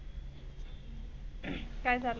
काय झाल?